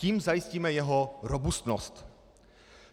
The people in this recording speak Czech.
Tím zajistíme jeho robustnost.